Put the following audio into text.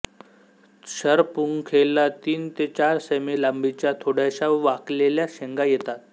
शरपुंखेला तीन ते चार सें मी लांबीच्या थोड्याशा वाकलेल्या शेंगा येतात